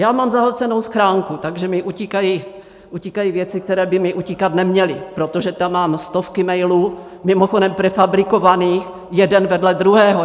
Já mám zahlcenou schránku, takže mi utíkají věci, které by mi utíkat neměly, protože tam mám stovku mailů, mimochodem prefabrikovaných jeden vedle druhého.